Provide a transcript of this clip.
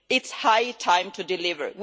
It is high time to deliver.